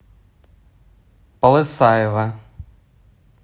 полысаево